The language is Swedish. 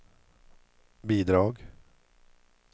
bidrag